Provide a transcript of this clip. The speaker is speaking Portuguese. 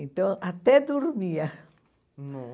Então, até dormia.